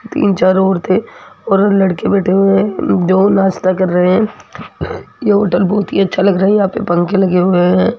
तीन चार औरतों और लड़के बैठे हुए हैं जो नाश्ता कर रहे हैं ये होटल बहुत ही अच्छा लग रहा है यहां पे पंख लगे हुए हैं।